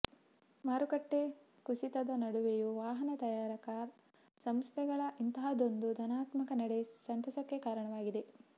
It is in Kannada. ಮಾರುಕಟ್ಟೆ ಕುಸಿತದ ನಡುವೆಯೂ ವಾಹನ ತಯಾರಕ ಸಂಸ್ಥೆಗಳ ಇಂತಹದೊಂದು ಧನಾತ್ಮಕ ನಡೆ ಸಂತಸಕ್ಕೆ ಕಾರಣವಾಗಿದೆ